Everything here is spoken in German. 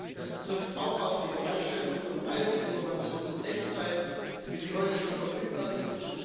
Das trifft auch auf die Bereitstellung von Reiseinformationen in Echtzeit zu, wie sie heute schon verfügbar sind.